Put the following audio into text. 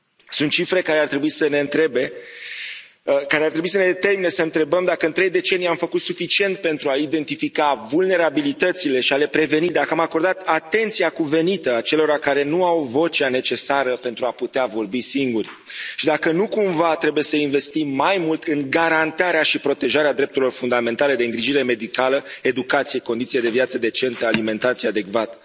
Sunt cifre care ar trebui să ne determine să întrebăm dacă în trei decenii am făcut suficient pentru a identifica vulnerabilitățile și a le preveni, dacă am acordat atenția cuvenită acelora care nu au vocea necesară pentru a putea vorbi singuri, și dacă nu cumva trebuie să investim mai mult în garantarea și protejarea drepturilor fundamentale de îngrijire medicală, educație, condiții de viață decente, alimentație adecvată.